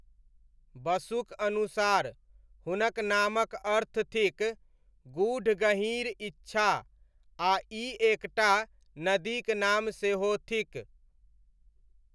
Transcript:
बसुक अनुसार, हुनक नामक अर्थ थिक 'गूढ़ गहीँर इच्छा' आ ई एक टा नदीक नाम सेहो थिक।